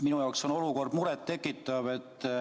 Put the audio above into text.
Minu jaoks on olukord muret tekitav.